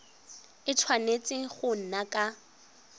a tshwanetse go nna ka